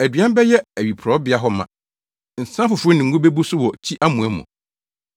Aduan bɛyɛ awiporowbea hɔ ma, nsa foforo ne ngo bebu so wɔ kyi amoa mu.